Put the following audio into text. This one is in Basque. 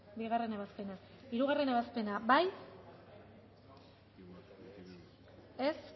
bigarren ebazpena hirugarrena ebazpena bozkatu dezakegu